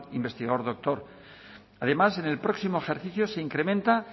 investigador doctor además en el próximo ejercicio se incrementa